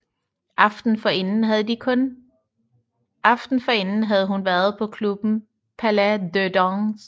Aftenen forinden havde hun været på klubben Palais de Dance